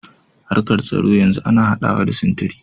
Harkar tsaro yanzu ana haɗawa da sintiri.